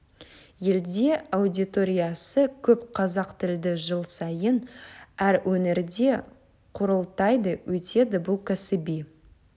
елде аудиториясы көп қазақ тілді жыл сайын әр өңірде құрылтайы өтеді бұл кәсіби